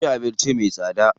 Sun ci abinci me tsada.